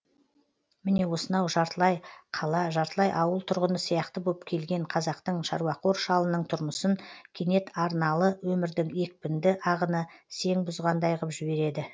міне осынау жартылай қала жартылай ауыл тұрғыны сияқты боп келген қазақтың шаруақор шалының тұрмысын кенет арналы өмірдің екпінді ағыны сең бұзғандай ғып жібереді